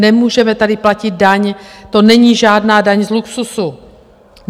Nemůžeme tady platit daň, to není žádná daň z luxusu.